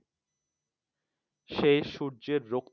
সেই সূর্যের রক্তিম